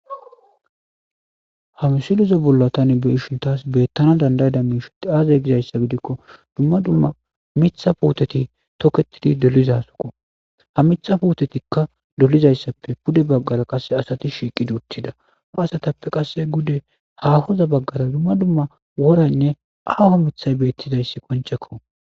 Ha misileza tani beyashe betanaw danda'iza aze gizaysa gidiko duma duma mitha putteti toketidi dolizako ha mitha putetika pude bagara qase shiqidi uttida pude hahoza bagara duma duma worane aho mithay betizay qoncceko